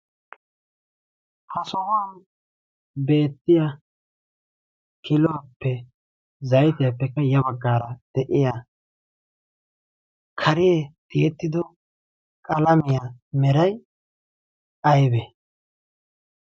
ha sohuwan beettiya kiluwaappe zaytiyaappekka ya baggaara de'iya karee tiyettido qalamiyaa meray aybe?